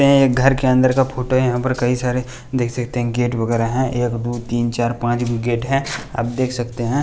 ये एक घर के अंदर का फोटो यहां पर कई सारे देख सकते हैं गेट वगैरा हैं एक दो तीन चार पांच गेट है आप देख सकते हैं।